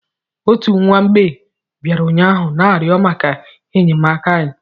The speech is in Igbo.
Otu nwa mgbei bịara ụnyaahụ na-arịọ maka enyemaka anyị